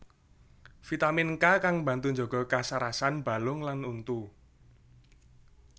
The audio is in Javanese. Vitamin K kang mbantu njaga kasarasan balung lan untu